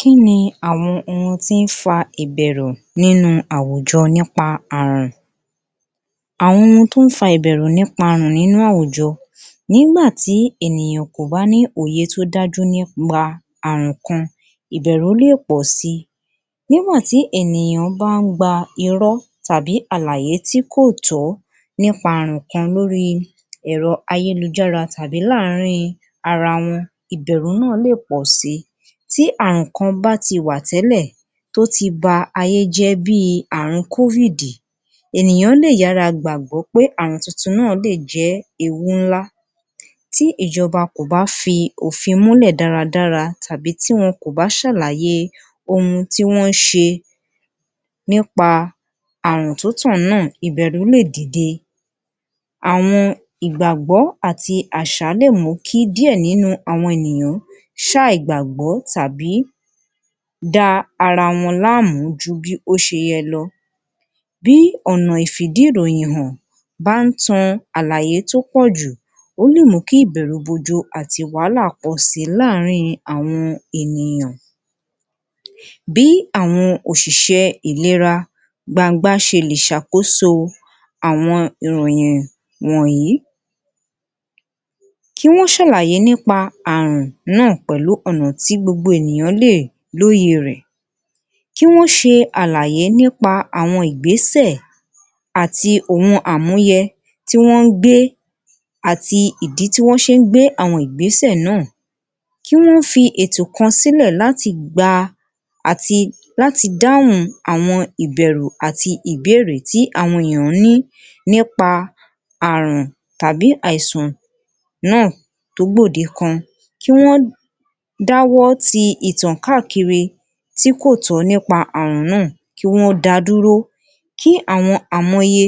Kí ni àwọn ohun tí ń fa ìbẹ̀rù nínú àwùjọ nípa àrùn, àwọn ohun tí ó n fà ìbẹ̀rù nípa àrùn nínú àwùjọ nígbà tí ènìyàn kò bá ní òye tí ó dájú nípa àrùn kan, ìbẹ̀rù lè pọ̀ si nígbà tí ènìyàn bá ń gba irọ́ tàbí àlàyé tí kò tọ́ nípa àrùn kan lórí èrọ ayélujára tàbí láàárín wọn ìbẹ̀rù náà lè pọ̀ si. Tí àrùn kan bá ti wà tẹ́lẹ̀ tí ó ti ba ayé jẹ́ bí àrùn kovidi, ènìyàn lè yàrá gbàgbọ́ pé àrùn tuntun náà lè jẹ́ ewu ńlá tí ìjọ́ba kò bá fi òfin múlẹ̀ dáradára tàbí tí wọn kò bá ṣàlàyé ohun tí wọ́n ń ṣe nípa àrùn tí ó tàn náà, ìbẹ̀rù lè dìde. Àwọn ìgbàgbọ́ pẹ̀lú àṣà lè mú kí díẹ̀ nínú àwọn ènìyàn ṣe àìgbàgbọ́ tàbí da ara wọn lámùú ju ibo ṣe yẹ lọ. Bí ọ̀nà ìfi ìdí ìròyìn hàn bá ń tan àlàyé tó pọ̀jù ó lè mú kí ìbẹ̀rù bo ojo àti wàhálà pọ̀ si láàárín àwọn ènìyàn. Bí àwọn òṣìṣẹ́ ìléra gbagban ṣe lè ṣàkóso àwọn ìròyìn wọ̀nyìí kí wọ́n ṣàlàyé nípa àrùn náà pẹ̀lú ọ̀nà tí gbogbo ènìyàn lè lóye rẹ̀, kí wọ́n ṣe àlàyé nípa àwọn Ìgbésẹ̀ àti ohun àmúyẹ tí wọ́n gbé àti ìdí tí wọ́n ṣe ń gbé àwọn Ìgbésẹ̀ náà, kí wọ́n fi ètò kan sílè láti gba àti láti dáhùn àwọn ìbẹ̀rù àti ìbéèrè tí àwọn ènìyàn ní í nípa àrùn tàbí àìsàn náà tó gbòde kan kí wọ́n dá ọwọ́ tí ìtàn káàkiri tí kò tọ́ nípa àrùn náà kì wọ́n da dúró kí àwọn àmúyẹ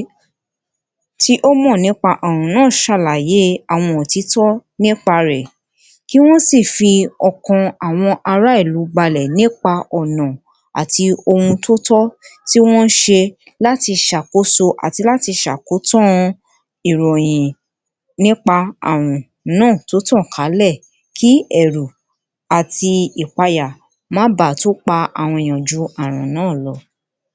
tí ó mọ̀ nípa àrùn náà ṣàlàyé nípa àwọn òtítọ́ nípa rẹ̀, kí wọ́n sì fi ọkàn àwọn ará ìlú balẹ̀ nípa ọ̀nà àti ohun tí ó tọ́ tí wọ́n ń ṣe láti ṣàkóso àti láti ṣe àkọ́tán ìròyìn nípa àrùn náà tí ó tọ̀ kalẹ̀ kí ẹrù àti ìpáyà máa ba tú pa àwọn ènìyàn ju àrùn náà lọ.